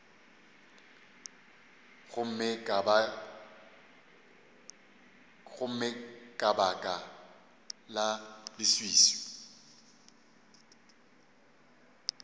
gomme ka baka la leswiswi